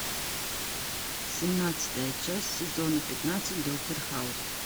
семнадцатая часть сезона пятнадцать доктор хаус